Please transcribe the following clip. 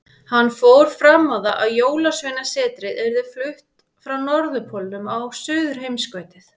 Hann fór fram á það að Jólasveinasetrið yrði flutt frá Norðurpólnum á Suðurheimskautið.